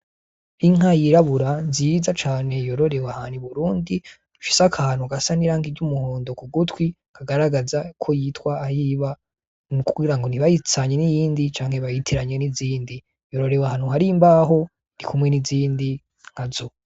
Inka yirabura nziza cane yororewe ahantu i Burundi ifise akantu gasa n'irangi ry'umuhondo k'ugutwi kagaragaza uko yitwa ,ahiba kugira ngo ntibayitiranye n'iyindi canke bayitiranye n'izindi, yororewe ahantu hari imbaho irikumwe n'izindi nkazo.